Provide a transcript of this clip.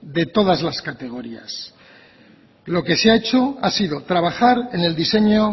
de todas las categorías lo que se ha hecho ha sido trabajar en el diseño